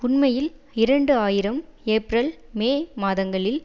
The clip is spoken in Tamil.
உண்மையில் இரண்டு ஆயிரம் ஏப்பரல் மே மாதங்களில்